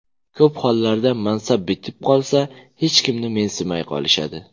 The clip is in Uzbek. Ko‘p hollarda mansab bitib qolsa, hech kimni mensimay qolishadi.